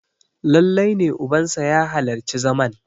lallai ne ubansa ya halarci zaman!